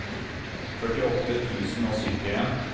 førtiåtte tusen og syttien